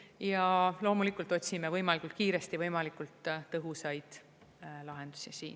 Ja loomulikult otsime võimalikult kiiresti võimalikult tõhusaid lahendusi.